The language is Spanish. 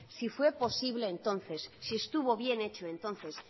si fue posible entonces si estuvo bien hecho entonces